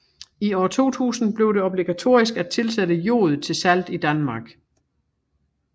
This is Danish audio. I år 2000 blev det obligatorisk at tilsætte jod til salt i Danmark